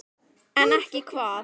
En ekki hvað?